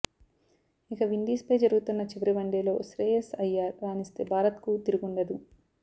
ఇక విండీస్ పై జరుగుతున్న చివరి వన్డేలో శ్రేయస్స్ అయ్యార్ రాణిస్తే భారత్ కు తీరుగుండదు